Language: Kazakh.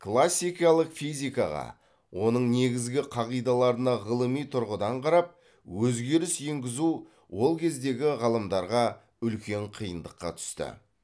классикалық физикаға оның негізгі қағидаларына ғылыми тұрғыдан қарап өзгеріс енгізу ол кездегі ғалымдарға үлкен қиындыққа түсті